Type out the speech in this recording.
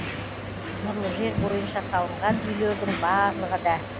нұрлы жер бойынша салынған үйлердің барлығы да